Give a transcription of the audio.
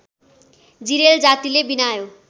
जिरेल जातिले बिनायो